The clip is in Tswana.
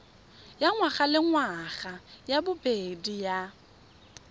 ya ngwagalengwaga ya bobedi ya